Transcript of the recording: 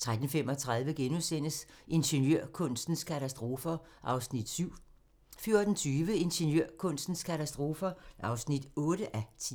13:35: Ingeniørkunstens katastrofer (7:10)* 14:20: Ingeniørkunstens katastrofer (8:10)